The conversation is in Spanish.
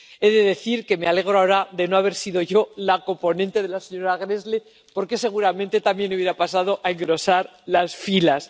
He de decir que me alegro ahora de no haber sido yo la coponente de la señora Gräßle, porque seguramente también habría pasado a engrosar esas filas.